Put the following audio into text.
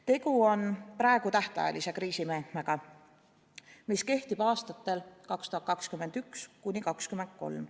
Tegu on praegu tähtajalise kriisimeetmega, mis kehtib aastatel 2021–2023.